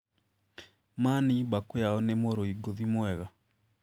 Mani Bakuyao nĩ mũrũi ngũthi mwega.